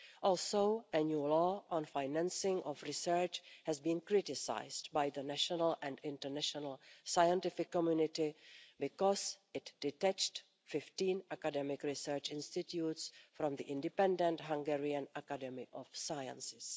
Also, a new law on the financing of research has been criticised by the national and international scientific community because it detached 15 academic research institutes from the independent Hungarian Academy of Sciences.